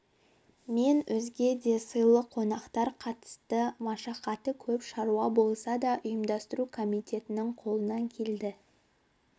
мен өзге де сыйлы қонақтар қатысты машақаты көп шаруа болса да ұйымдастыру комитетінің қолынан келді